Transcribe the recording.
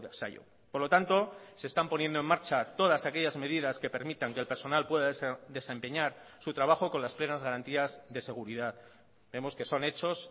zaio por lo tanto se están poniendo en marcha todas aquellas medidas que permitan que el personal pueda desempeñar su trabajo con las plenas garantías de seguridad vemos que son hechos